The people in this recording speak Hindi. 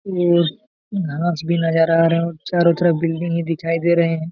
और घास भी नजर आ रहे है और चारों तरफ बिल्डिंग ही दिखाई दे रहे है|